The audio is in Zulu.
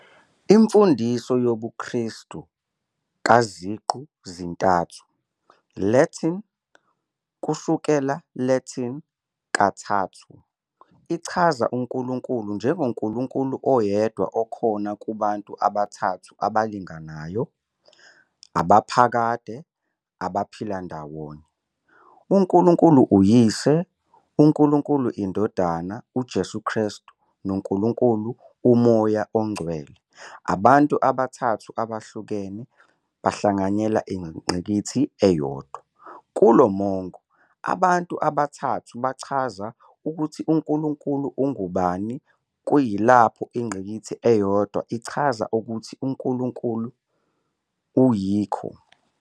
Imfundiso yobuKristu kaZiqu -zintathu, Latin, Kusukela Latin "kathathu", ichaza uNkulunkulu njengonkulunkulu oyedwa okhona kubantu abathathu abalinganayo, abaphakade, abaphila ndawonye - uNkulunkulu uYise, uNkulunkulu iNdodana, uJesu Kristu, noNkulunkulu uMoya oNgcwele - abantu abathathu abahlukene bahlanganyela ingqikithi eyodwa. Kulo mongo, abantu abathathu bachaza who uNkulunkulu ungubani, kuyilapho ingqikithi eyodwa ichaza what uNkulunkulu ayikho.